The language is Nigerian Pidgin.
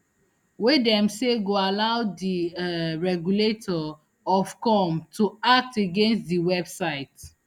wey dem say go allow di um regulator ofcome to act against di website